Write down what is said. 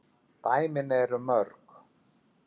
dæmin eru mörg.